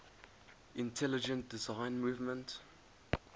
intelligent design movement